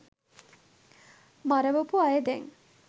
මරවපු අය දැන්